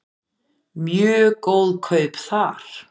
Mjög góð kaup þar.